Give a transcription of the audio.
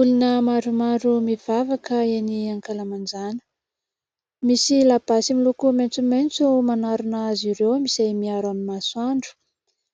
Olona maromaro mivavaka eny ankalamanjana. Misy labasy miloko maintsomaintso manarona azy ireo izay miaro amin'ny masoandro